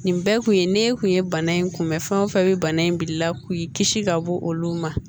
Nin bɛɛ kun ye ne kun ye bana in kunbɛn fɛn o fɛn bɛ bana in bilala k'i kisi ka bɔ olu ma